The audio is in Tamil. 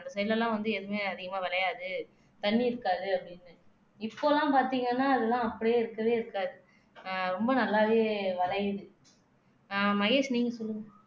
அந்த side ல எல்லாம் வந்து எதுவுமே அதிகமா விளையாது தண்ணி இருக்காது அப்படின்னு சொல்லி இப்ப எல்லாம் பாத்தீங்கன்னா அதெல்லாம் அப்படியே இருக்கவே இருக்காது ஆஹ் ரொம்ப நல்லாவே வளையுது ஆஹ் மகேஷ் நீங்க சொல்லுங்க